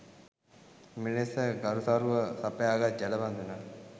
මෙලෙස ගරුසරුව සපයාගත් ජලබඳුන